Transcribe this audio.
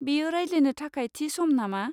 बेयो रायज्लायनो थाखाय थि सम नामा?